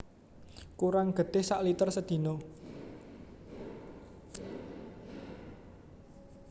Kurang getih sak liter sedina